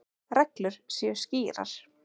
Reglur séu skýrar.